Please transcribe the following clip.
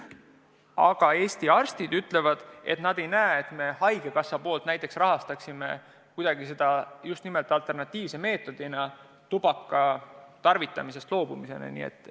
Samas Eesti arstid ütlevad, et nad ei näe, et haigekassa hakkaks alternatiivse meetodina tubaka tarvitamisest loobumist kuidagi rahastama.